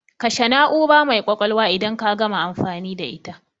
Kashe na'ura mai kwakwalwa idan ka gama amfani da ita